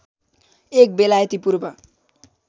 एक बेलायती पूर्व